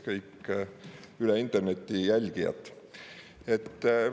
Kõik üle interneti jälgijad!